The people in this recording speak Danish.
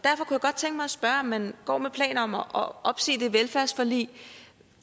spørge om man går med planer om at opsige det velfærdsforlig